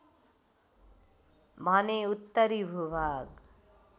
भने उत्तरी भूभाग